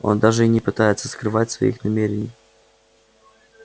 он даже и не пытается скрывать своих намерений